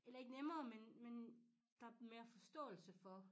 Eller ikke nemmere men men der mere forståelse for